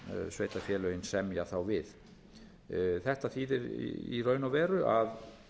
sveitarfélögin semja þá við þetta þýðir í raun og veru að